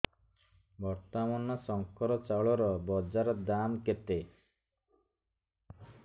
ବର୍ତ୍ତମାନ ଶଙ୍କର ଚାଉଳର ବଜାର ଦାମ୍ କେତେ